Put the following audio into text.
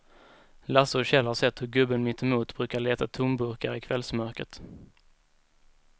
Lasse och Kjell har sett hur gubben mittemot brukar leta tomburkar i kvällsmörkret.